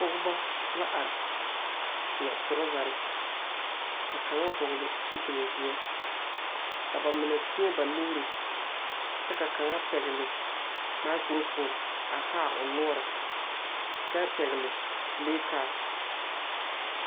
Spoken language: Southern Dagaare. Pɔgba la are a seɛ torɔzɛre kyɛ ka kaŋ vɔgle zupilzeɛ. Bamine teɛ ba nuure kyɛ ka kaŋ pɛgle maakurofoone kyɛ haa o nɔɔre. O pɛgle la pileekaasi